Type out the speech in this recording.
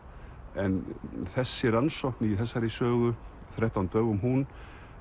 en þessi rannsókn í þessari sögu þrettán dögum hún